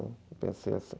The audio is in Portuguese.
Eu pensei assim...